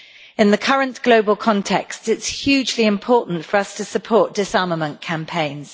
In the current global context, it is hugely important for us to support disarmament campaigns.